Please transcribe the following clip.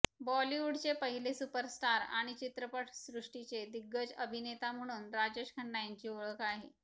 बॉलिवूडचे पहिले सुपरस्टार आणि चित्रपटसृष्टीचे दिग्गज अभिनेता म्हणून राजेश खन्ना यांची ओळख आहे